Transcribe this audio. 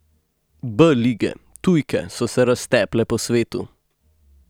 B lige, tujke so se razteple po svetu.